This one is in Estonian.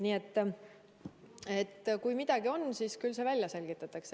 Nii et kui midagi on, siis küll see välja selgitatakse.